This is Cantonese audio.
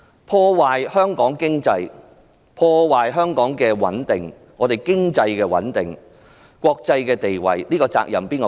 破壞了香港的經濟穩定和國際的地位，責任誰負？